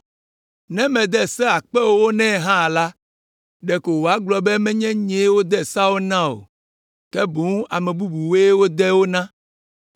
Ne mede se akpe ewo nɛ hã la, ɖeko wòagblɔ be menye yee wode seawo na o, ke boŋ ame bubuwoe wode wo na.